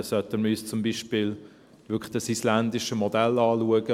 Dann sollten wir uns zum Beispiel wirklich dieses isländische Modell anschauen: